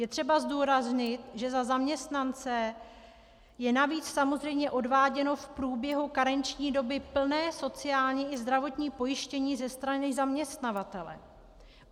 Je třeba zdůraznit, že za zaměstnance je navíc samozřejmě odváděno v průběhu karenční doby plné sociální i zdravotní pojištění ze strany zaměstnavatele.